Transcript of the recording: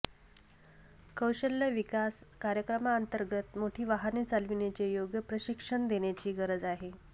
कौशल्य विकास कार्यक्रमातंर्गत मोठी वाहने चालविण्याचे योग्य प्रशिक्षण देण्याची गरज आहे